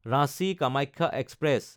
Ranchi Kamakhya express